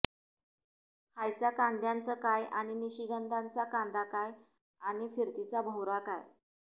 खायचा कांद्याचा काय आणि निशिगंधाचा कांदा काय आणि फिरतीचा भोवरा काय